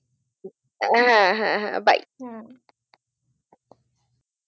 আহ হ্যা হ্যা bye